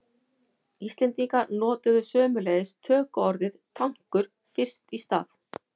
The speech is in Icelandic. Íslendingar notuðu sömuleiðis tökuorðið tankur fyrst í stað.